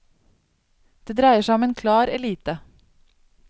Det dreier seg om en klar elite.